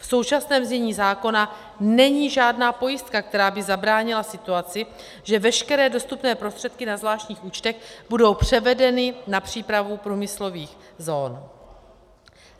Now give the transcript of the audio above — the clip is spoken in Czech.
V současném znění zákona není žádná pojistka, která by zabránila situaci, že veškeré dostupné prostředky na zvláštních účtech budou převedeny na přípravu průmyslových zón.